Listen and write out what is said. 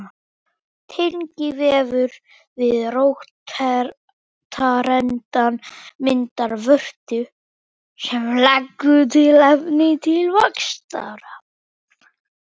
Tengivefur við rótarendann myndar vörtu sem leggur til efni til vaxtar.